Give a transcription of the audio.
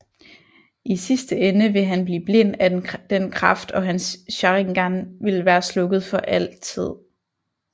I sidste ende vil han blive blind af den kraft og hans Sharingan ville være slukket for altid